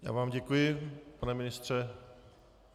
Já vám děkuji, pane ministře.